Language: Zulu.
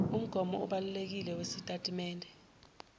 umgomo obalulekile wesitatimende